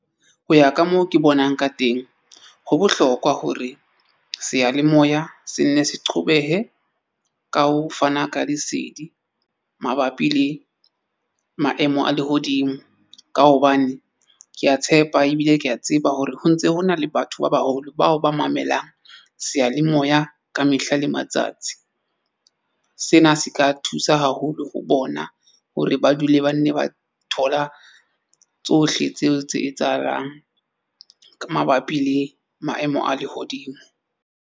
Ho ya ka moo ke bonang ka teng, ho bohlokwa hore seyalemoya se nne se qhobehe ka ho fana ka lesedi mabapi le maemo a lehodimo. Ka hobane ke a tshepa ebile ke a tseba hore ho ntse hona le batho ba baholo bao ba mamelang seyalemoya ka mehla le matsatsi. Sena se ka thusa haholo ho bona hore ba dule ba nne ba thola tsohle tseo tse etsahalang. Ka mabapi le maemo a lehodimo.